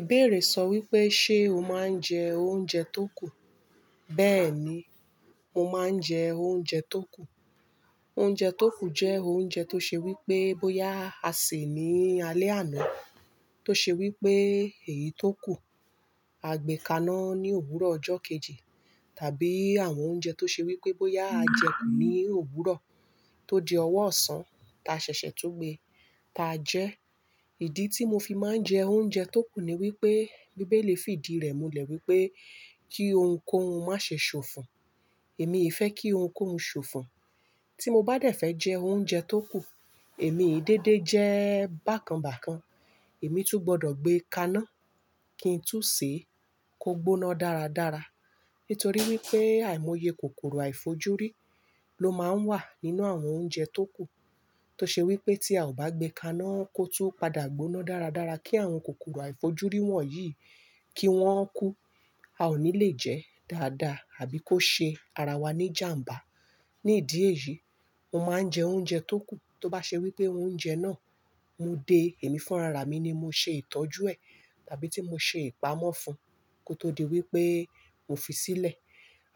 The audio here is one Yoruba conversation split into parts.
Ìbéèrè sọ wípé, ṣe o máa ń jẹ oúnjẹ tó kù? Bẹ́ẹ̀ni, mo máa ń jẹ oúnjẹ tó kù. Oúnjẹ tó kù jẹ́ oúnjẹ tó ṣe wípé bóyá a sè ní alẹ́ àná, tó ṣe wípé èyí tó kù, a gbé kaná ní òwúrọ̀ ọjọ́ kejì, tàbí àwọn oúnjẹ tó ṣe wípé bóyá a jẹ kù ní òwúrọ̀ tó di ọwọ́ ọ̀sán, ta ṣẹ̀ṣẹ̀ tú gbé ta jẹ. Ìdí tí mo fi máa ń jẹ oúnjẹ tó kù ni wípé bíbélì fi ìdí rẹ̀ mulẹ̀ wípé kí ohunkóhun má ṣe ṣòfò. Èmi i fẹ́ kí ohunkóhun ṣòfò. Tí mo bá dẹ̀ fẹ́ jẹ oúnjẹ tó kù, èmi i dédé jẹ́ bákanbákan. Èmi tún gbọdọ̀ gbé kaná kí n tú sé kó gbóná dáradára. Nítorí wípé àìmoye kòkòrò àìfojúrí ló máa ń wà nínú àwọn oúnjẹ tó kù. Tó ṣe wípé tí a ò bá gbé kaná kó tú padà gbóná dáradára kí àwọn kòkòrò àìfojúrí wọ̀nyí kí wọ́n kú, a ò ní le jẹ́ dáadáa àbí kó ṣe ara wa ní ìjàmbá. Ní ìdí èyí, mo máa ń jẹ oúnjẹ tó kù. Tó bá ṣe wípé oúnjẹ náà mú dé èmi fún ara mi ni mò ṣe ìtọ́jú ẹ̀, tàbí tí mò ṣe ìpamọ́ fún kó tó di wípé mò fi sílẹ̀.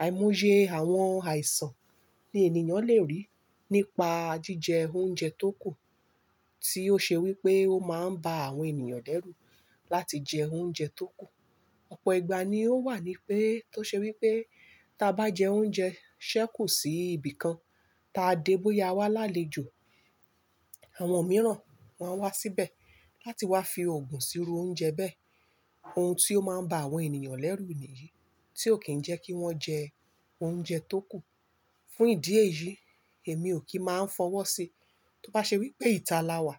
Àìmoye àwọn àìsàn ní ènìyàn lè rí nípa jíjẹ oúnjẹ tó kù tí ó ṣe wípé ó máa ń bá àwọn ènìyàn lẹ́rù láti jẹ oúnjẹ tó kù. Ọ̀pọ̀ ìgbà ni ó wà nípẹ̀ tó ṣe wípé ta bá jẹ oúnjẹ ṣẹ́kù sí ibìkan, ta dé bóyá a wá lálejò, àwọn mìíràn wá n wá síbẹ̀ láti wá fi òògùn síru oúnjẹ bẹ́ẹ̀. Ohun tí ó máa ń bá àwọn ènìyàn lẹ́rù nìyí tí ò kí ń jẹ́ kí wọ́n jẹ oúnjẹ tó kù. Fún ìdí èyí, èmi ò kí máa ń fọwọ́ sí. Tó bá ṣe wípé ìta la wà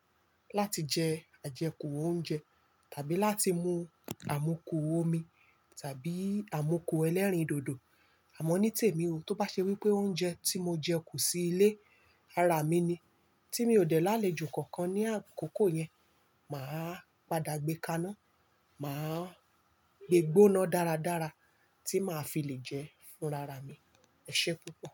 láti jẹ àjẹkù oúnjẹ tàbí láti mú àmukù omi tàbí àmukù ẹlẹ́rìndòdò, àmọ́ ní tèmi o. Tó bá ṣe wípé oúnjẹ tí mo jẹ kù sí ilé, ara mi ni. Tí mi ò dẹ̀ lálẹ́ jo kankan ní àkókò yẹn, màá padà gbé kaná, màá gbé gbóná dáradára tí màá fi lè jẹ fún rara mi. Ẹ̀ṣẹ́ púpọ̀.